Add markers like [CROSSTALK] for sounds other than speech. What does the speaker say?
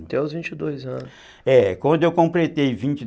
Quando eu completei vinte [UNINTELLIGIBLE]